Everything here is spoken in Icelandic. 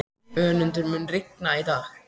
Önundur, mun rigna í dag?